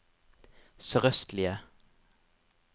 sørøstlige